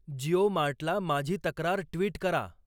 जिओ मार्टला माझी तक्रार ट्विट करा